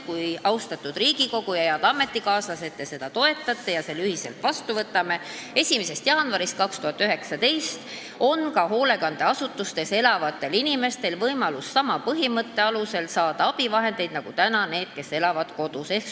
Kui te, austatud Riigikogu, head ametikaaslased, seda toetate ja me selle ühiselt vastu võtame, siis 1. jaanuarist 2019 on ka hoolekandeasutustes elavatel inimestel võimalus saada abivahendeid soodustusega, omaosalusega, st sama põhimõtte alusel, nagu praegu saavad need, kes elavad kodus.